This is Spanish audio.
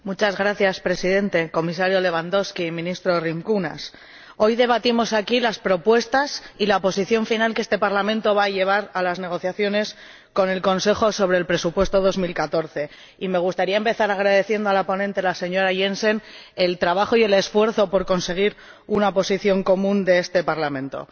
Señor Presidente, Comisario Lewandowski, Ministro Rimkūnas, hoy debatimos aquí las propuestas y la Posición final que este Parlamento va a llevar a las negociaciones con el Consejo sobre el presupuesto 2014 y me gustaría empezar agradeciendo a la ponente, señora Jensen, el trabajo y el esfuerzo realizados por conseguir una posición común de este Parlamento.